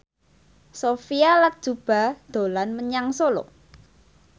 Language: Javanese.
Sophia Latjuba dolan menyang Solo